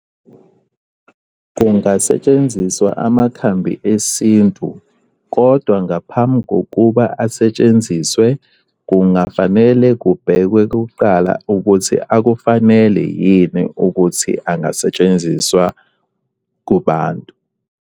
Kungasetshenziswa amakhambi esintu kodwa ngaphambi kokuba asetshenziswe kungafanele kubhekwe kuqala ukuthi akufanele yini ukuthi angasetshenziswa kubantu.